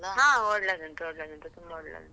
ಹಾ ಒಳ್ಳೆದುಂಟು, ಒಳ್ಳೆದುಂಟು ತುಂಬಾ ಒಳ್ಳೆದುಂಟು.